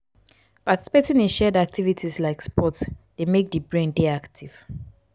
participating in shared activities like sports dey make di brain dey active